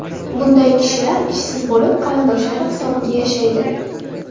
Bunday kishilar ishsiz bo‘lib, qarindoshlari hisobiga yashaydi.